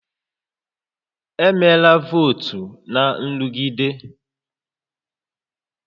Emela votu na nrụgide